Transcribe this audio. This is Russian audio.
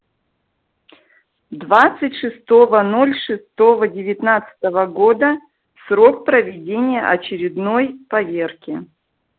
двадцать шестого ноль шестого девятнадцатого года срок проведения очередной поверки